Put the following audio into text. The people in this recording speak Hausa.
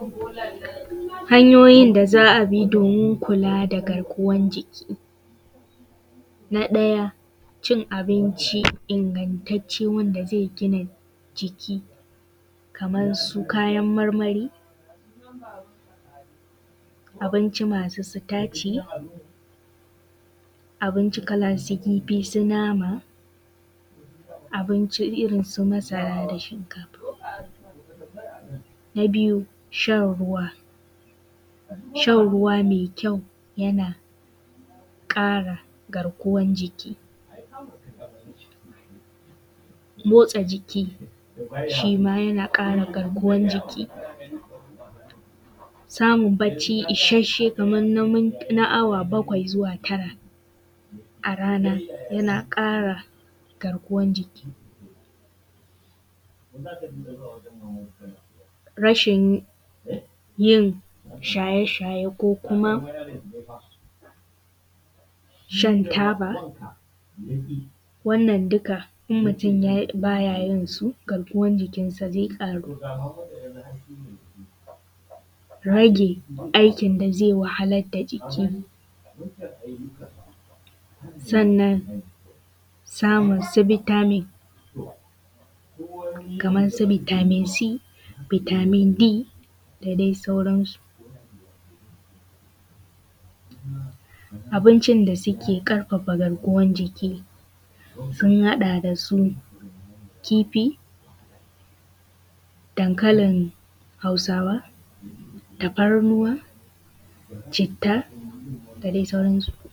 Hanyoyin da za abi domin kula da garkuwan jiki, na ɗaya cin abinci ingantacce wanda ze gina jiki kamarsu kayan marmari, abinci masu sitaci, abinci kalan su kifi, su nama abinci, irinsu masara da shinkafa. Na biyu shan ruwa, shan ruwa me kyau yana kare garkuwan jiki, motsa jiki shi ma yana ƙara garkuwan jiki, samun bacci isashshe kaman na awa bakwai zuwa tara a rana yana ƙara garkuwan jiki; rashin yin shaye-shaye ko kuma shan taba. Wannan duka in mutun ba yayinsu garkuwan jikinka zai ƙara rage aikin da zai wahalar da jiki, sannan samun su bitamin kaman su bitamin c, bitamin d da dai sauransu. Abincin da suke ƙarfafa garkuwan jiki sun haɗa: da su kifi, dankalin Hausawa, tafarnuwa, citta da dai sauransu.